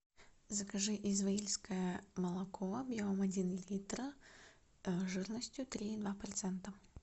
закажи изваильское молоко объемом один литра жирностью три и два процента